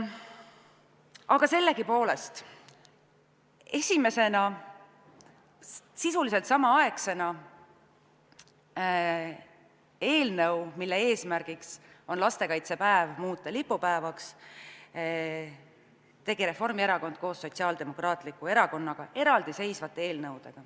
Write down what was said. Aga sellegipoolest, esimesena või sisuliselt samaaegselt tegid eelnõud, mille eesmärk on lastekaitsepäev muuta lipupäevaks, Reformierakond koos Sotsiaaldemokraatliku Erakonnaga, need olid eraldiseisvad eelnõud.